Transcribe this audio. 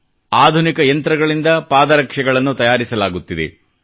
ಇಲ್ಲಿ ಆಧುನಿಕ ಯಂತ್ರಗಳಿಂದ ಪಾದರಕ್ಷೆಗಳನ್ನು ತಯಾರಿಸಲಾಗುತ್ತಿದೆ